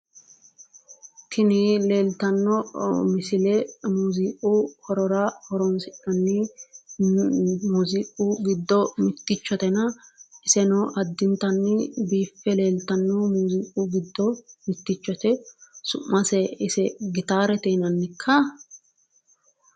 Tini leeltanno misile muziqu horora horonsi'nan muziqu giddo mittichotena iseno addintanni biife leeltanno muziqu giddo mitchote su'mase ise gitaarete yinanikka?